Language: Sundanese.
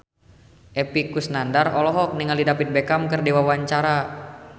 Epy Kusnandar olohok ningali David Beckham keur diwawancara